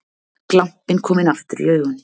Glampinn kominn aftur í augun.